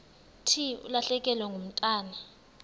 thi ulahlekelwe ngumntwana